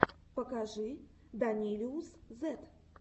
покажи данилиусзет